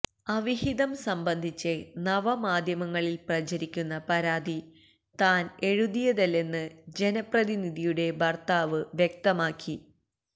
അവിഹിതം സംബന്ധിച്ച് നവമാധ്യമങ്ങളിൽ പ്രചരിക്കുന്ന പരാതി താൻ എഴുതിയതല്ലെന്ന് ജനപ്രതിനിധിയുടെ ഭർത്താവ് വ്യക്തമാക്കി